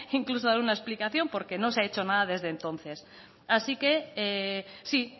incluso dar una explicación porque no se ha hecho nada desde entonces así que sí